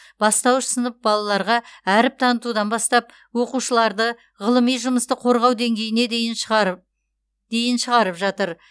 бастауыш сынып балаларға әріп танытудан бастап оқушыларды ғылыми жұмысты қорғау деңгейіне дейін шығарып жатыр